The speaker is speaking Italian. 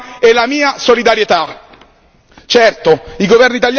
A loro io esprimo la mia stima e la mia solidarietà.